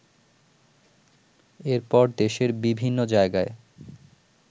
এরপর দেশের বিভিন্ন জায়গায়